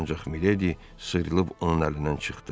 Ancaq Miledi sıyrılıb onun əlindən çıxdı.